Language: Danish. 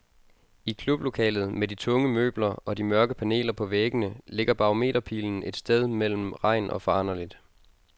I klublokalet med de tunge møbler og de mørke paneler på væggene ligger barometerpilen et sted mellem regn og foranderligt.